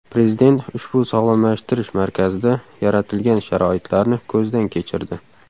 Prezident ushbu sog‘lomlashtirish markazida yaratilgan sharoitlarni ko‘zdan kechirdi.